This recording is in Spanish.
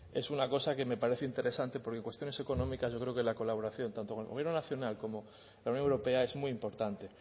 es una cosa que me parece interesante porque cuestiones económicas yo creo que la colaboración tanto con el gobierno nacional como la unión europea es muy importante